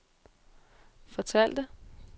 fortalte